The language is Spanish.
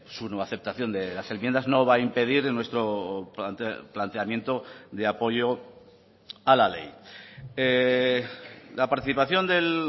su no aceptación de las enmiendas no va a impedir nuestro planteamiento de apoyo a la ley la participación del